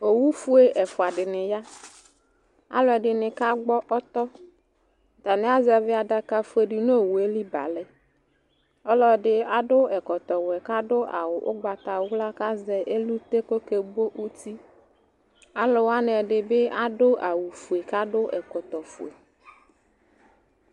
owu fue ɛfua di ni ya alò ɛdini ka gbɔ ɔtɔ atani azɛvi adaka fue di n'owue li ba lɛ ɔlò ɛdi adu ɛkɔtɔ wɛ k'adu ugbata wla k'azɛ elute k'oke bo uti alò wani ɛdi bi adu awu fue k'adu ɛkɔtɔ fue.